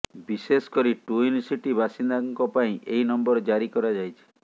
ବିଶେଷ କରି twin city ବାସିନ୍ଦାଙ୍କ ପାଇଁ ଏହି ନମ୍ବର ଜାରି କରାଯାଇଛି